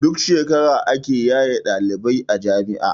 Duk shekara ake yaye ɗalibai a jami'a